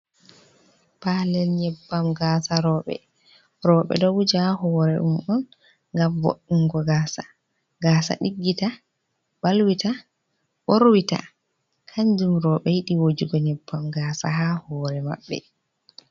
Palel nyeɓbam gasa roɓe, roɓe ɗo wuja a hore mu ɗum on ngam vo'ungo gasa, gasa diggita balwita borwita, kanjum roɓe yiɗi wujugo nyeɓbam gasa ha hore maɓɓe.